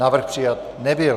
Návrh přijat nebyl.